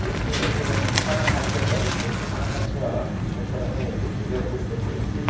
ଏଇଠି ଗୋଟେ ନିର୍ମାଣ କାର୍ଯ୍ୟ ଚାଲିଛି। ନିର୍ମାଣ କାର୍ଯ୍ୟ ସୁନ୍ଦର୍ ଭାବେ ସେ ପିଲର୍ ଗୁଡ଼ିକ ପଡ଼ିଚି।